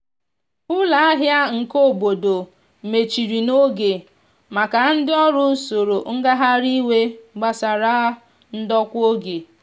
ụlọ ahia nke obodo mechiri n'oge maka ndi ọrụ soro ngahari iwe gbasara ndokwa oge.